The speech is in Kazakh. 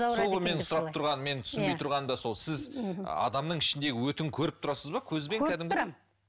сол менің сұрап тұрғаным мен түсінбей тұрғаным да сол сіз адамның ішіндегі өтін көріп тұрасыз ба көзбен көріп тұрамын